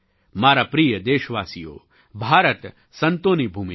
મારા પ્રિય દેશવાસીઓ ભારત સંતોની ભૂમિ છે